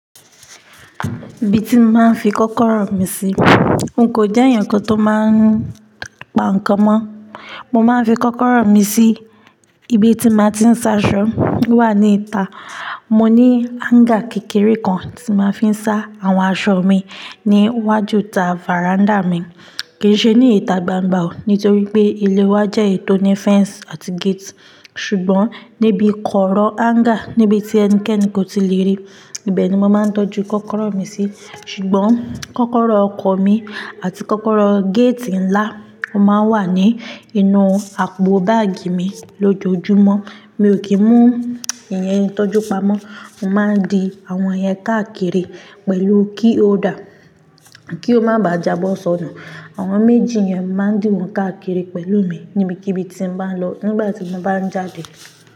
Ibi tí mo máa ń fi kọ́kọ́rọ́ mi sí. N kò jẹ́ èèyàn kan tó máa ń pa nǹkan mọ́. Mo máa ń fi kọ́kọ́rọ́ mi sí ibi tí màá ti ń sá aṣọ, o wà ní ìta. Mo ní hanger kékeré kan tí màá fi ń sá àwọn aṣọ mi ní iwájú ta veranda mi. Kì í ṣe ní ìta gbangba o, nítorí pé ilé wa jẹ́ èyi tò ní fence àti gate. Ṣùgbọ́n níbi kọ̀ọ̀rọ̀ hanger, níbi tí ẹnikẹ́ni kò tí lè rí, ibẹ̀ ni mo máa ń tọ́jú kọ́kọ́rọ́ mi sí. Ṣùgbọ́n kọ́kọ́rọ́ ọkọ̀ mi àti kọ́kọ́rọ́ gate ńlá, ó máa ń wà ní inú àpò báàgì mi lójoojúmọ́. Mi ò kí ń mú ìyẹn tọ́jú pamọ́. Mo máa ń di àwọn yẹn káàkiri pẹ̀lú key holder kí ó má bá jà bọ́ sọnù. Àwọn méjì yẹn máa ń dìwọ́n káàkiri pẹ̀lú mi níbikíbi tí n bá ń lọ, nígbà tí mo bá ń jáde.